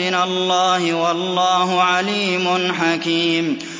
مِّنَ اللَّهِ ۗ وَاللَّهُ عَلِيمٌ حَكِيمٌ